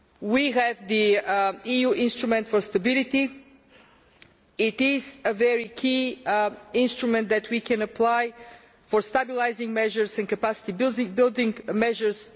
We have the EU Instrument for Stability, which is a key instrument that we can apply for stabilising measures and capacity building measures.